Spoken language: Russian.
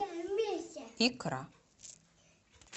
икра